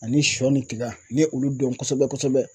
Ani sɔ ni tiga n ye olu dɔn kosɛbɛ kosɛbɛ.